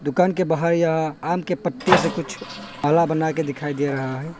दुकान के बाहर या आम के पत्ते से कुछ आला बनाकर दिखाई दे रहा है।